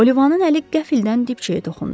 Olivanın əli qəflətən dibçəyə toxundu.